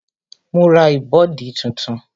Ma ra ìbọ̀dí tuntun